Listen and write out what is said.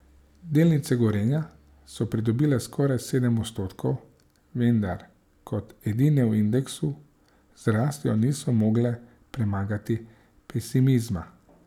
Delnice Gorenja so pridobile skoraj sedem odstotkov, vendar kot edine v indeksu z rastjo niso mogle premagati pesimizma.